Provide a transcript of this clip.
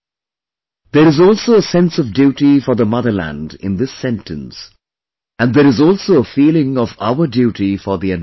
' There is also a sense of duty for the motherland in this sentence and there is also a feeling of our duty for the environment